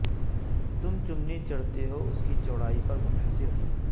تم چمنی چڑھتے ہو اس کی چوڑائی پر منحصر ہے